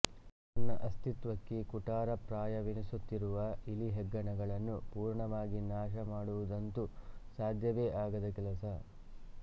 ತನ್ನ ಅಸ್ತಿತ್ತ್ವಕ್ಕೆ ಕುಠಾರಪ್ರಾಯವೆನಿಸುತ್ತಿರುವ ಇಲಿ ಹೆಗ್ಗಣಗಳನ್ನು ಪೂರ್ಣವಾಗಿ ನಾಶಮಾಡುವುದಂತೂ ಸಾಧ್ಯವೇ ಆಗದ ಕೆಲಸ